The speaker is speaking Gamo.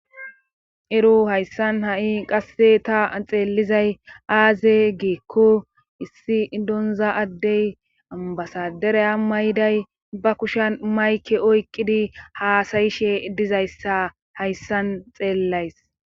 Ero hayssan ha'i qasse ta xeellizay aaze geekko issi idonza addey ambasadere a mayday ba kushan mayke oykqidi haasayishe dizayssa hayssan xeellays